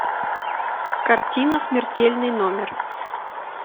картина смертельный номер